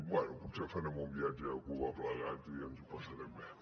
bé potser farem un viatge a cuba plegats i ens ho passarem bé